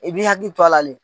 I bɛ hakili to lali